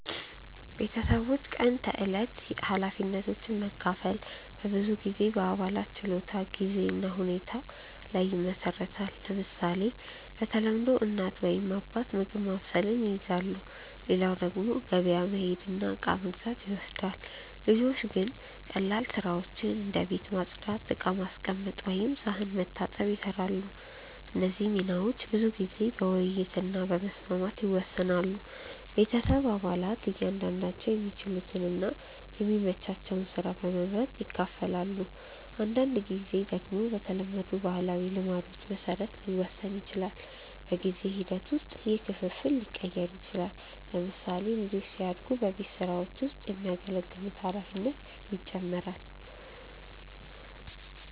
ቤተሰቦች የቀን ተዕለት ኃላፊነቶችን መካፈል በብዙ ጊዜ በአባላት ችሎታ፣ ጊዜ እና ሁኔታ ላይ ይመሰረታል። ለምሳሌ፣ በተለምዶ እናት ወይም አባት ምግብ ማብሰልን ይይዛሉ፣ ሌላው ደግሞ ገበያ መሄድ እና እቃ መግዛት ይወስዳል። ልጆች ግን ቀላል ስራዎችን እንደ ቤት ማጽዳት፣ ዕቃ ማስቀመጥ ወይም ሳህን መታጠብ ይሰራሉ። እነዚህ ሚናዎች ብዙ ጊዜ በውይይት እና በመስማማት ይወሰናሉ። ቤተሰብ አባላት እያንዳንዳቸው የሚችሉትን እና የሚመቻቸውን ስራ በመመርጥ ይካፈላሉ። አንዳንድ ጊዜ ደግሞ በተለመዱ ባህላዊ ልማዶች መሰረት ሊወሰን ይችላል። በጊዜ ሂደት ውስጥ ይህ ክፍፍል ሊቀየር ይችላል። ለምሳሌ፣ ልጆች ሲያድጉ በቤት ስራዎች ውስጥ የሚያገለግሉት ኃላፊነት ይጨምራል።